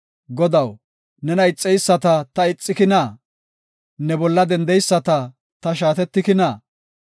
Godaw, nena ixeyisata ta ixikina? Ne bolla dendeyisata ta shaatetikina?